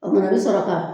O fana i bi sɔrɔ ka